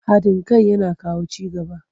Haɗin kai yana kawo ci gaba.